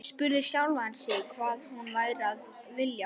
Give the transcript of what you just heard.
Spurði sjálfan sig hvað hún væri að vilja.